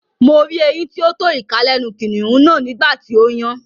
Mo rí eyín tí ó tó ìka lẹ́nu kìnnìún náà nígbà tí ó yàn